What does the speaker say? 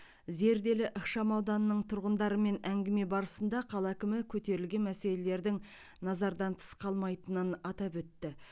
зерделі ықшамауданының тұрғындарымен әңгіме барысында қала әкімі көтерілген мәселелердің назардан тыс қалмайтынын атап өтті